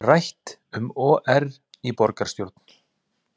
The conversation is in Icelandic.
Rætt um OR í borgarstjórn